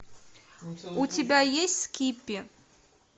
у тебя есть скиппи